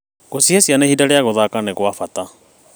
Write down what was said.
Gũcihe ciana ihinda rĩa gũthaka nĩ gwa bata.